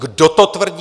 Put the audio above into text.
Kdo to tvrdí?